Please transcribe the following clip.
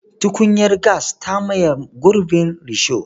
Tukunyar gas ta maye gurbin risho.